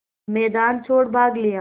मैदान छोड़ भाग लिया